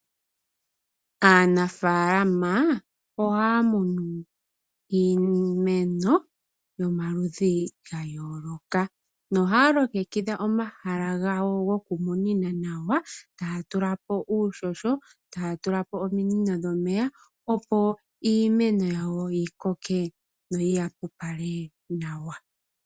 Aanafaalama ohaya munu iimeno yomaludhi gayooloka na ohaya longekidha omahala gawo gokumunina nawa taya tula po uuhoho, taya tula po ominino dhomeya opo iimeno yawo yikoke yo yi yapopale nawa.